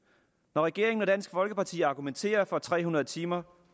når regeringen og dansk folkeparti argumenterer for tre hundrede timers